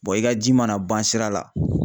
i ka ji mana ban sira la